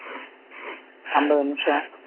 ஐம்பது நிமிஷம்